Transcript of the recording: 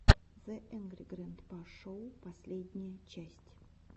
зе энгри грэнпа шоу последняя часть